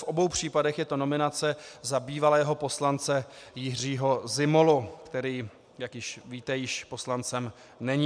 V obou případech je to nominace za bývalého poslance Jiřího Zimolu, který, jak víte, již poslancem není.